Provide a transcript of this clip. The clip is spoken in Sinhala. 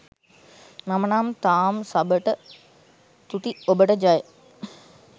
මම නම් තාම් සබට තුති ඔබට ජය.